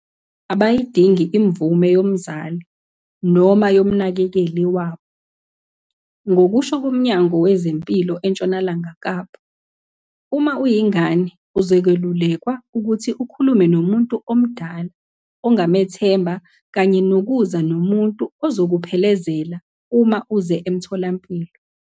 Abayidingi imvume yomzali noma yomnakekeli wabo. Ngokusho koMnyango Wezempilo eNtshonalanga Kapa, uma uyingane, uzokwelulekwa ukuthi ukhulume nomuntu omdala ongamethemba kanye nokuza nomuntu ozokuphelezela uma uze emtholampilo.